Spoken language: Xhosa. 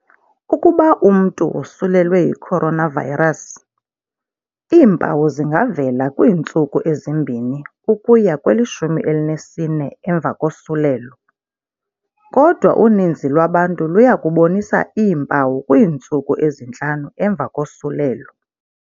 Ukuba umntu wosulelwe yi-coronavirus, iimpawu zingavela kwiintsuku ezi-2 ukuya kweli-14 emva kosulelo, kodwa uninzi lwabantu luya kubonisa iimpawu kwiintsuku ezintlanu emva kosulelo.